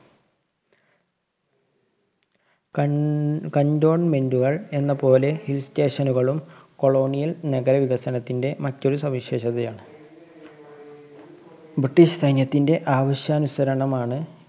കണ്‍~ cantonment കള്‍ എന്നപോലെ hill station നുകളും colonial നഗരവികസനത്തിന്‍ടെ മറ്റൊരു സവിശേഷതയാണ്. ബ്രിട്ടീഷ് സൈന്യത്തിന്റെ ആവശ്യാനുസരണമാണ്